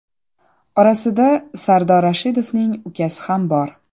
Orasida Sardor Rashidovning ukasi ham bor.